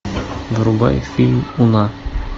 врубай фильм уна